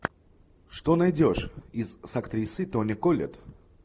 что найдешь из с актрисой тони коллетт